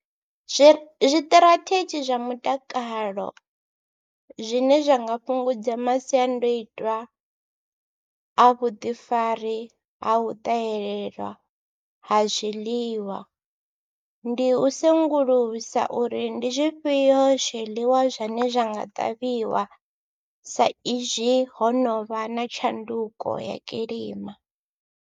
Zwi zwiṱirathedzhi zwa mutakalo zwine zwa nga fhungudza masiandaitwa a vhuḓifari ha u ṱahelela ha zwiḽiwa ndi u sengulusa uri ndi zwifhio zwiḽiwa zwine zwa nga ṱavhiwa saizwi ho no vha na tshanduko ya kilima.